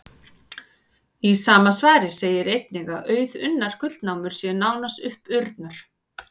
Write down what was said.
Í sama svari segir einnig að auðunnar gullnámur séu nánast uppurnar.